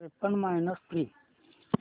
त्रेपन्न minus three